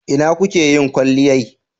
Ina kuke yin kwalliyai?